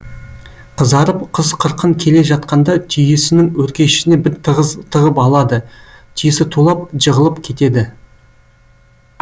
қызарып қыз қырқын келе жатқанда түйесінің өркешіне біз тығып алады түйесі тулап жығылып кетеді